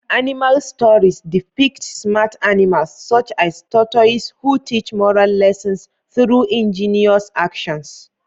Animal stories depict smart animals, such as tortoises, who teach moral lessons through ingenious actions.